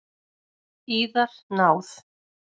Yðar náð!